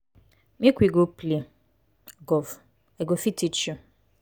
make we go play golf. i go fit teach you.